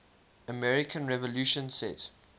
american revolution set